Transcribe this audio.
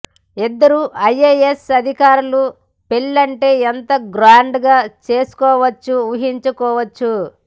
ఇద్దరూ ఐఎఎస్ అధికారులు పెళ్ళంటే ఎంత గ్రాండ్ గా చేసుకోవచ్చో ఊహించుకోవచ్చు